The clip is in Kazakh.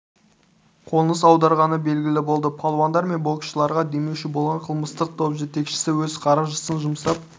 қоныс аударғаны белгілі болды палуандар мен боксшыларға демеуші болған қылмыстық топ жетекшісі өз қаржысын жұмсап